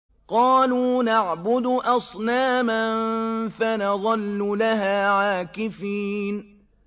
قَالُوا نَعْبُدُ أَصْنَامًا فَنَظَلُّ لَهَا عَاكِفِينَ